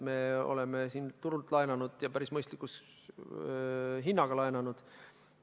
Me oleme turult laenanud ja päris mõistliku hinnaga laenanud.